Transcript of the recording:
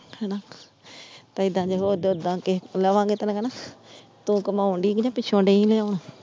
ਤੇ ਏਦਾਂ ਜੇ ਹੋਰ ਕੇ ਲਾਵਾਂਗੇ ਤੇ ਓਹਨਾ ਕਹਿਣਾ, ਤੂੰ ਕਮਾਉਣ ਦੀ ਕ ਨਹੀਂ ਪਿੱਛੋਂ .